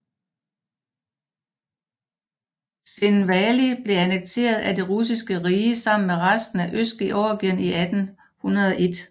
Tskhinvali blev annekteret af Det russiske rige sammen med resten af Østgeorgien i 1801